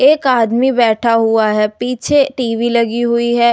एक आदमी बैठा हुआ है पीछे टी_वी लगी हुई है।